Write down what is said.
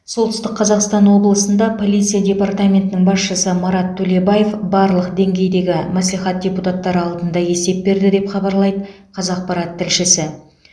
солтүстік қазақстан облысында полиция департаментінің басшысы марат төлебаев барлық деңгейдегі мәслихат депутаттары алдында есеп берді деп хабарлайды қазақпарат тілшісі